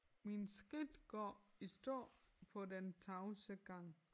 Mine skridt går i stå på den tavse gang